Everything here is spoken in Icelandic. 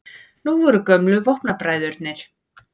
Nú voru gömlu vopnabræðurnir